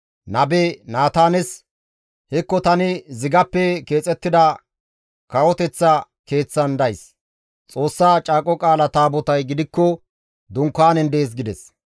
nabe Naataanes, «Hekko tani zigappe keexettida kawoteththa keeththan days; Xoossa Caaqo Qaala Taabotay gidikko dunkaanen dees» gides.